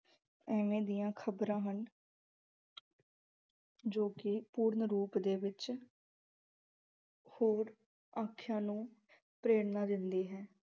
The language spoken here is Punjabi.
ਇਵੇਂ ਦੀਆ ਖ਼ਬਰਾਂ ਹਨ ਜੋ ਕਿ ਪੂਰਨ ਰੂਪ ਦੇ ਵਿੱਚ ਹੋਰ ਆਖਿਆ ਨੂੰ ਪ੍ਰੇਰਨਾ ਦਿੰਦੀ ਹੈ।